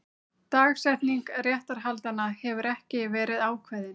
Dagsetning réttarhaldanna hefur ekki verið ákveðin